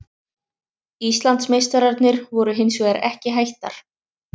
Íslandsmeistararnir voru hins vegar ekki hættar.